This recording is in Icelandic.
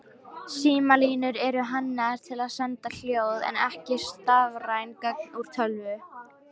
Símalínur eru hannaðar til að senda hljóð en ekki stafræn gögn úr tölvu.